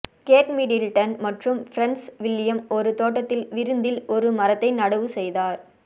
gate Middleton மற்றும் prince William ஒரு தோட்டத்தில் விருந்தில் ஒரு மரத்தை நடவு செய்தார்